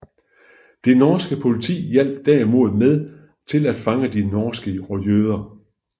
Det norske politi hjalp derimod med til at fange de norske jøder